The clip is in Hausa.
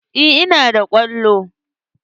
Eh ina da kwallo.